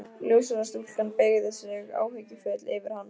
Ljóshærða stúlkan beygði sig áhyggjufull yfir hann.